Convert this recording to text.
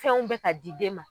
Fɛnw bɛɛ ka di den ma.